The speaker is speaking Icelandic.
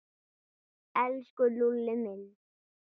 Elsku Lúlli minn.